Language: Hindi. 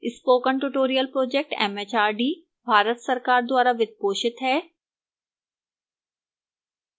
spoken tutorial project mhrd Bharat सरकार द्वारा वित्त पोषित है